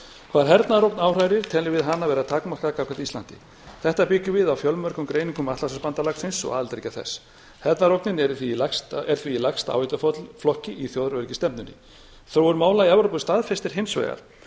hvað hernaðarógn áhrærir teljum við hana vera takmarkaða gagnvart íslandi þetta byggjum við á fjölmörgum greiningum atlantshafsbandalagsins og aðildarríkja þess hernaðarógnin er því í hæst áhættuflokki í þjóðaröryggisstefnunni þróun mála í evrópu staðfestir hins vegar að